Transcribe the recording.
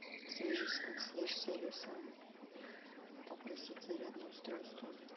свяжись с консьерж сервисом попросить зарядное устройство